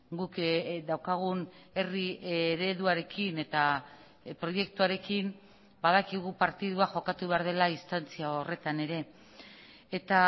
guk daukagun herri ereduarekin eta proiektuarekin badakigu partidua jokatu behar dela distantzia horretan ere eta